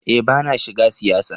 Eh bana shiga siyasa.